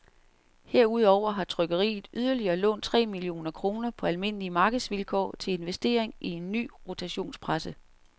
Herudover har trykkeriet yderligere lånt tre millioner kroner på almindelige markedsvilkår til investering i en ny rotationspresse.